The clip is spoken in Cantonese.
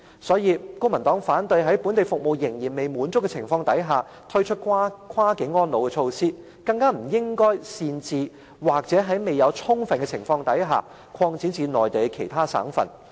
所以，公民黨反對未滿足本地服務需求的情況下，推出跨境安老措施，更不應擅自或在未有充分諮詢的情況下，便把計劃擴展至內地其他省份。